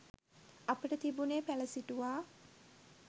අපට තිබුණේ පැළ සිටුවා